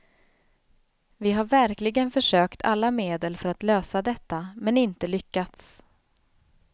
Vi har verkligen försökt alla medel för att lösa detta, men inte lyckats.